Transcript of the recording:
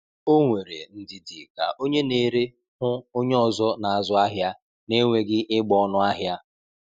O nwere ndidi ka onye na-ere hụ onye ọzọ n'azụ ahịa na-enweghị ịgba ọnụ ahịa.